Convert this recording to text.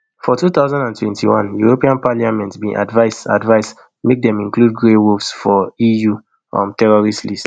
for two thousand and twenty-one european parliament bin advise advise make dem include grey wolves for eu um terrorist list